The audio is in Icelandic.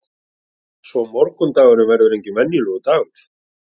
Svo morgundagurinn verður enginn venjulegur dagur.